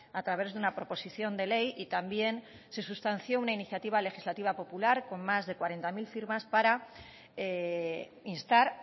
a través de una proposición de ley y también se sustanció una iniciativa legislativa popular con más de cuarenta mil firmas para instar